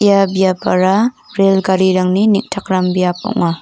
ia biapara rel garirangni neng·takram biap ong·a.